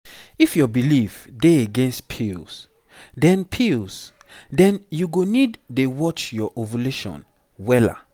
if your belief dey against pills then pills then you go need dey watch your ovulation wella